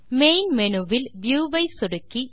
main menu வில் view ஐ சொடுக்கி